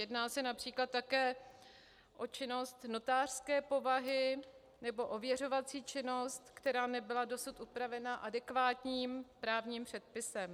Jedná se například také o činnost notářské povahy nebo ověřovací činnost, která nebyla dosud upravena adekvátním právním předpisem.